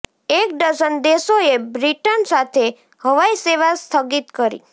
એક ડઝન દેશોએ બ્રિટન સાથે હવાઇ સેવા સ્થગિત કરી